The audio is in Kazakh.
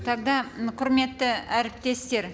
тогда құрметті әріптестер